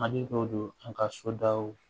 Hakili dɔw don an ka so daw